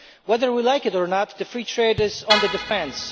Whether we like it or not, free trade is on the defence.